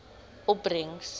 opbrengs